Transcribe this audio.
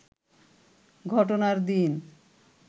ঘটনার দিন